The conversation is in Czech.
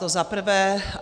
To za prvé.